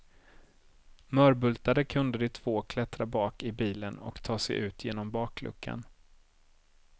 Mörbultade kunde de två klättra bak i bilen och ta sig ut genom bakluckan.